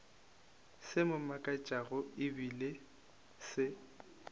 se mo makatšago ebile se